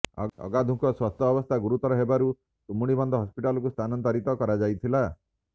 ଅଗାଧୁଙ୍କ ସ୍ୱାସ୍ଥ୍ୟ ଅବସ୍ଥା ଗୁରୁତର ହେବାରୁ ତୁମୁଡିବନ୍ଧ ହସ୍ପିଟାଲକୁ ସ୍ଥାନାନ୍ତରିତ କରାଯାଇଥିଲା